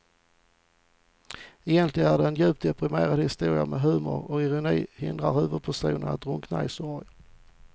Egentligen är det en djupt deprimerande historia men humorn och ironin hindrar huvudpersonen att drunkna i sorg.